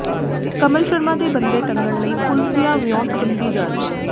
ਕਮਲ ਸ਼ਰਮਾ ਦੇ ਬੰਦੇ ਟੰਗਣ ਲਈ ਪੁਲਸੀਆ ਵਿਉਂਤਬੰਦੀ ਜਾਰੀ